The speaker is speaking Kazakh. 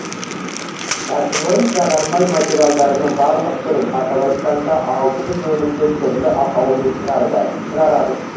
кәсіпорын жағармай материалдарының барлық түрін атап айтқанда алты жүз өнімді түрлі атаумен шығарады